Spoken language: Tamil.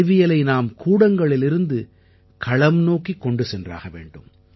அறிவியலை நாம் கூடங்களிலிருந்து களம் நோக்கிக் கொண்டு சென்றாக வேண்டும்